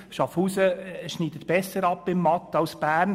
Schaffhausen schneidet besser ab in Mathematik als Bern.